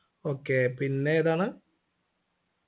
okay പിന്നെതാണ്